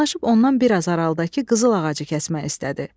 Yaxınlaşıb ondan biraz aralıdakı qızıl ağacı kəsmək istədi.